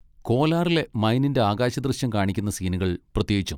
കോലാറിലെ മൈനിൻ്റെ ആകാശദൃശ്യം കാണിക്കുന്ന സീനുകൾ പ്രത്യേകിച്ചും.